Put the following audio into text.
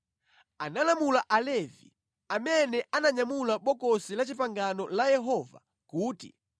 analamula Alevi amene ananyamula Bokosi la Chipangano la Yehova kuti,